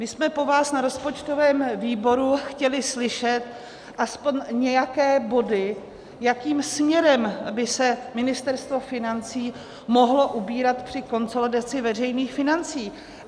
My jsme po vás na rozpočtovém výboru chtěli slyšet aspoň nějaké body, jakým směrem by se Ministerstvo financí mohlo ubírat při konsolidaci veřejných financí.